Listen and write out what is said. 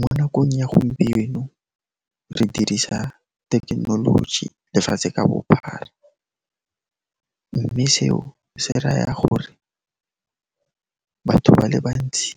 Mo nakong ya gompieno, re dirisa tekenoloji lefatshe ka bophara, mme seo se raya gore batho ba le bantsi